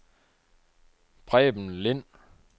Preben Lind